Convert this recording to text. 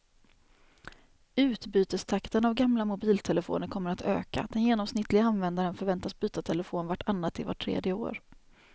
Utbytestakten av gamla mobiltelefoner kommer att öka, den genomsnittliga användaren förväntas byta telefon vart annat till vart tredje år.